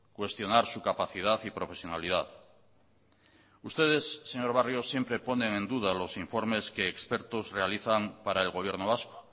cuestionar su capacidad y profesionalidad ustedes señor barrio siempre ponen en duda los informes que expertos realizan para el gobierno vasco